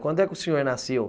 Quando é que o senhor nasceu?